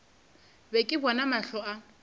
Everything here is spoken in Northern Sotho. be ke bona mahlo a